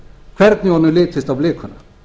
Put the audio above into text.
hvernig honum litist á blikuna